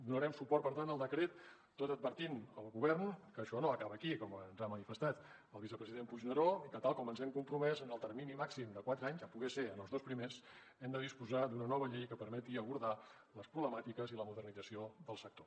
donarem suport per tant al decret tot advertint el govern que això no acaba aquí com ens ha manifestat el vicepresident puigneró i que tal com ens hi hem compromès en el termini màxim de quatre anys si pot ser en els dos primers hem de disposar d’una nova llei que permeti abordar les problemàtiques i la modernització del sector